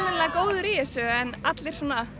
góður í þessu en allir